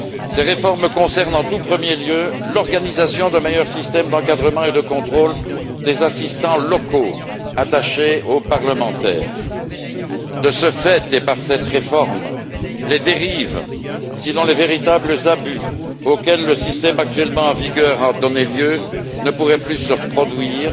Ces réformes concernent en tout premier lieu l'organisation d'un meilleur système d'encadrement et de contrôle des assistants locaux attachés aux parlementaires. De ce fait et par cette réforme, les dérives, sinon les véritables abus, auxquels le système actuellement en vigueur a donné lieu ne pourront plus se produire